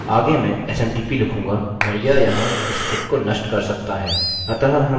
आगे मैं smtp लिखूँगा और वह यहाँ स्क्रिप्ट को नष्ट कर सकता है